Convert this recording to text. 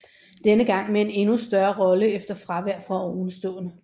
Denne gang med en endnu større rolle efter fravær fra ovenstående